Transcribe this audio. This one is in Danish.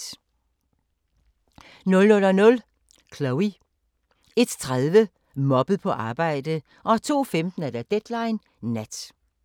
00:00: Chloe 01:30: Mobbet på arbejdet 02:15: Deadline Nat